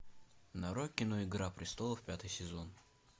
нарой кино игра престолов пятый сезон